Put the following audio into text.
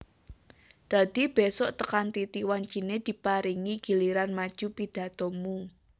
Dadi besuk tekan titi wancine diparingi giliran maju pidhatomu